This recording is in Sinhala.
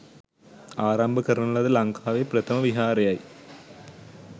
ආරම්භ කරන ලද ලංකාවේ ප්‍රථම විහාරයයි.